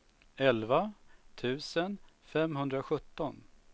elva tusen femhundrasjutton